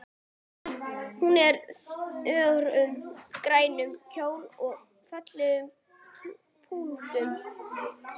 Hún er í þröngum, grænum kjól með fallegum pífum.